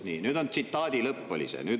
" Nii, see oli nüüd tsitaadi lõpp.